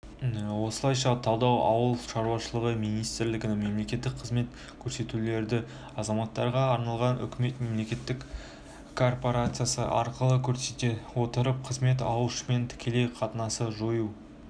осылайша талдау ауыл шаруашылығы министрлігінің мемлекеттік қызмет көрсетулерді азаматтарға арналған үкімет мемлекеттік корпорациясы арқылы көрсете отырып қызмет алушымен тікелей қатынасты жою